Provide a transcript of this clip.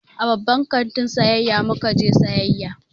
A babban kantin sayayya mu ka je sayayya.